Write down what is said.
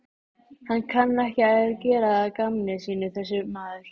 Hann kann ekki að gera að gamni sínu þessi maður.